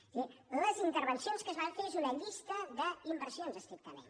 és a dir les intervencions que es van fer són una llista d’inversions estrictament